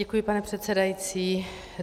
Děkuji, pane předsedající.